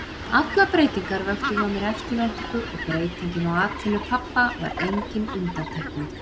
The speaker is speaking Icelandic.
Allar breytingar vöktu hjá mér eftirvæntingu og breytingin á atvinnu pabba var engin undantekning.